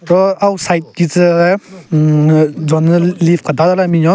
Ro auo side ki tsü le hhmmm jonyü leave kedada le binyon.